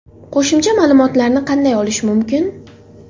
Qo‘shimcha ma’lumotlarni qanday olish mumkin?